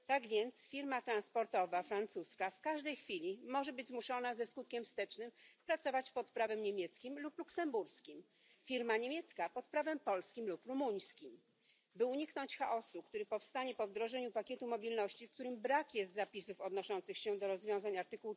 Tak więc firma transportowa francuska w każdej chwili może być zmuszona ze skutkiem wstecznym pracować pod prawem niemieckim lub luksemburskim, firma niemiecka pod prawem polskim lub rumuńskim. By uniknąć chaosu, który powstanie po wdrożeniu pakietu mobilności, w którym brak jest zapisów odnoszących się do rozwiązań art.